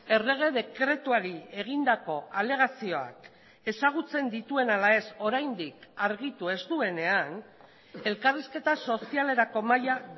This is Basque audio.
errege dekretuari egindako alegazioak ezagutzen dituen ala ez oraindik argitu ez duenean elkarrizketa sozialerako mahaia